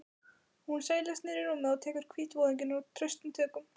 Hún seilist niður í rúmið og tekur hvítvoðunginn traustum tökum.